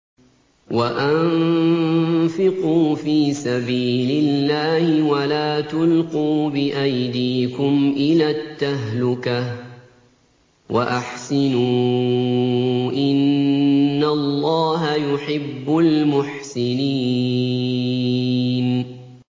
وَأَنفِقُوا فِي سَبِيلِ اللَّهِ وَلَا تُلْقُوا بِأَيْدِيكُمْ إِلَى التَّهْلُكَةِ ۛ وَأَحْسِنُوا ۛ إِنَّ اللَّهَ يُحِبُّ الْمُحْسِنِينَ